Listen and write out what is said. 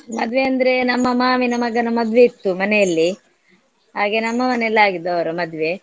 ಮದ್ವೆ ಅಂದ್ರೆ ನಮ್ಮ ಮಾಮಿನ ಮಗನ ಮದ್ವೆ ಇತ್ತು ಮನೆಯಲ್ಲಿ ಹಾಗೇ ನಮ್ಮ ಮನೆಯಲ್ಲಿ ಆಗಿದ್ದು ಅವ್ರ ಮದ್ವೆ.